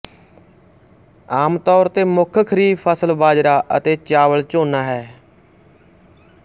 ਆਮ ਤੌਰ ਤੇ ਮੁੱਖ ਖਰੀਫ ਫਸਲ ਬਾਜਰਾ ਅਤੇ ਚਾਵਲ ਝੋਨਾ ਹਨ